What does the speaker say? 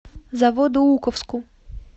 заводоуковску